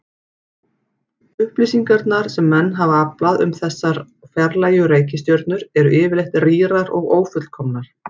Upplýsingarnar sem menn hafa aflað um þessar fjarlægu reikistjörnur eru yfirleitt rýrar og ófullkomnar.